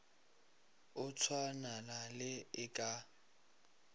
o tswalana le e ka